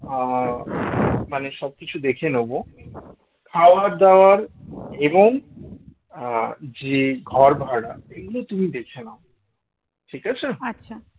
আহ মানে সব কিছু দেখে নেব খাবার দাবার এবং আহ যে ঘর ভাড়া এগুলো তুমি দেখে নাও ঠিক আছে